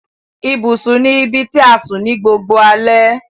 Ibùsùn ní ibití a sùn ní gbogboo alè.